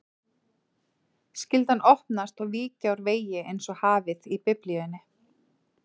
Skyldi hann opnast og víkja úr vegi einsog hafið í Biblíunni?